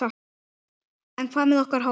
En hvað með okkar hóp?